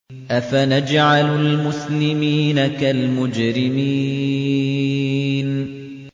أَفَنَجْعَلُ الْمُسْلِمِينَ كَالْمُجْرِمِينَ